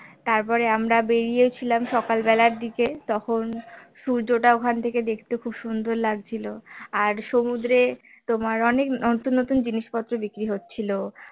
তার পরে আমরা বেরিয়ে ছিলাম সকাল বেলার দিকে তখন সূর্যটা ওখান থেকে দেখতে খুব সুন্দর লাগছিল আর সমুদ্রে তোমার অনেক নতুন নতুন জিনিস পত্র বিক্রি হচ্ছিল